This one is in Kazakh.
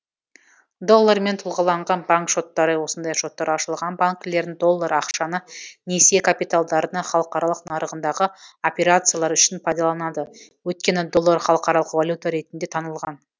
доллармен тұлғаланған банк шоттары осындай шоттар ашылған банкілердің доллар ақшаны несие капиталдарының халықаралық нарығындағы операциялар үшін пайдаланады өйткені доллар халықаралық валюта ретінде танылған